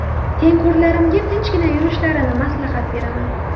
Tengqurlarimga tinchgina yurishlarini maslahat beraman.